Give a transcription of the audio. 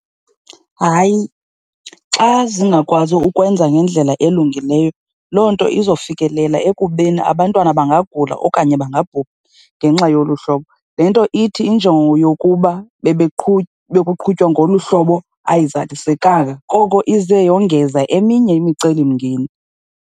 Hayi, xa zingakwazi ukwenza ngendlela elungileyo loo nto izofikelela ekubeni abantwana bangagula okanye bangabhubha ngenxa ye ngolu hlobo. Le nto ithi injongo yokuba bekuqhutywa ngolu hlobo ayizalisekanga, koko ize yongeza eminye imicelimngeni.